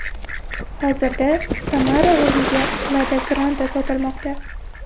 Hozirda Samara o‘rniga Lada Granta sotilmoqda.